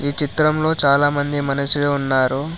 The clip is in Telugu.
ఈ చిత్రంలో చాలామంది మనుషులు ఉన్నారు.